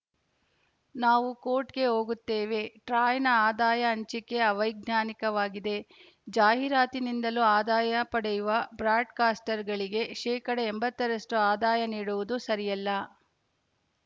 ನಾವೂ ಕೋರ್ಟ್‌ಗೆ ಹೋಗುತ್ತೇವೆ ಟ್ರಾಯ್‌ನ ಆದಾಯ ಹಂಚಿಕೆ ಅವೈಜ್ಞಾನಿಕವಾಗಿದೆ ಜಾಹೀರಾತಿನಿಂದಲೂ ಆದಾಯ ಪಡೆಯುವ ಬ್ರಾಡ್‌ಕಾಸ್ಟರ್‌ಗಳಿಗೆ ಶೇಕಡಾ ಎಂಬತ್ತರಷ್ಟುಆದಾಯ ನೀಡುವುದು ಸರಿಯಲ್ಲ